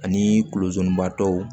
Ani kulobatɔw